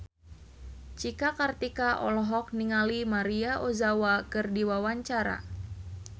Cika Kartika olohok ningali Maria Ozawa keur diwawancara